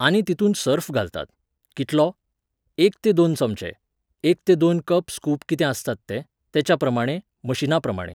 आनी तितूंत सर्फ घालतात. कितलो? एक ते दोन चमचे, एक ते दोन कप स्कूप कितें आसता ते, तेच्याप्रमाणें, मशीनाप्रमाणे